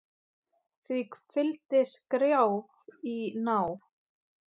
Því fylgdi skrjáf í ná